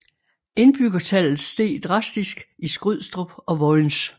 Indbyggertallet steg drastisk i Skrydstrup og Vojens